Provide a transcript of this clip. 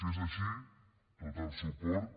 si és així tot el suport